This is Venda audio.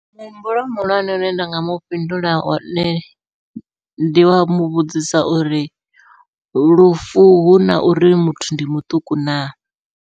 Muhumbulo muhulwane une nda nga mufhindula wone, ndi wa muvhudzisa uri lufu huna uri muthu ndi muṱuku na.